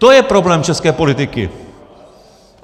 To je problém české politiky!